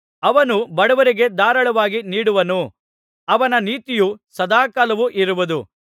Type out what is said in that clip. ಅವನು ಬಡವರಿಗೆ ಧಾರಾಳವಾಗಿ ನೀಡುವನು ಅವನ ನೀತಿಯು ಸದಾಕಾಲವೂ ಇರುವುದು